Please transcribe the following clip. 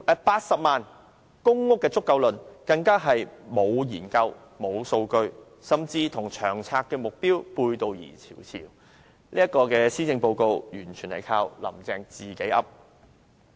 "80 萬公屋便足夠論"更是沒有研究、沒有數據支持，甚至與長策會的目標背道而馳，這份施政報告完全由"林鄭""自己噏"。